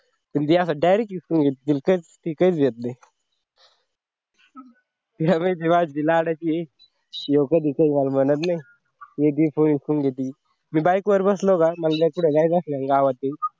म्हणजे असा direct हिसकावून घेईल ती काहीच घेत नाही ह्यावेळी ती माझी घेऊ का फोन म्हणत नाही लगेच फोन हिसकावून घेते मी bike वर बसलो का मला कुठं जायचं असलं ना गावात